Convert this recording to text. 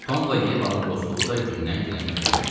Tomla Yevanın dostluğu da gündən-günə möhkəmlənirdi.